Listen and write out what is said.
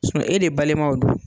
e de balimaw don.